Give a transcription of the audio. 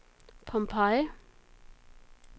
Pompeii